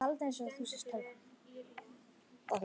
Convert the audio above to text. Bjargþór, hringdu í Engilgerði.